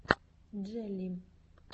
джелли